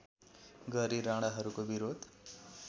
गरी राणाहरूको विरोध